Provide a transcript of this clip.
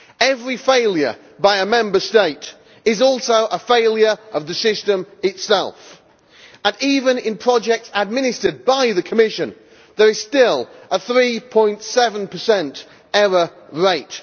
Every failure by a Member State is also a failure of the system itself, and even in projects administered by the Commission, there is still a 3.7 error rate.